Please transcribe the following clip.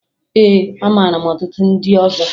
Ee, amara m ọtụtụ ndị ọzọ